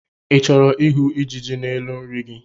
I chọrọ ịhụ ijiji n'elu nri gị?